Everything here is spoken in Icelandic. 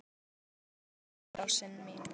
Ertu eitthvað viðkvæm í dag, rósin mín?